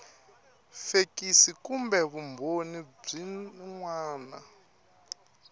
fekisi kumbe vumbhoni byin wana